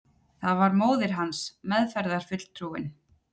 Það var móðir hans, meðferðarfulltrúinn.